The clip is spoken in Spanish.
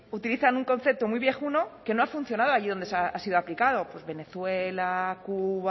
utilizan un concepto muy viejuno que no ha funcionado allí donde ha sido aplicado pues venezuela cuba